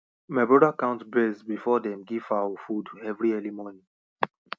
my brother count birds before dem give fowl food every early morning